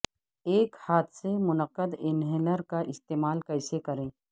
ایک ہاتھ سے منعقد انہیلر کا استعمال کیسے کریں